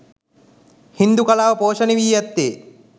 හින්දු කලාව පෝෂණය වී ඇත්තේ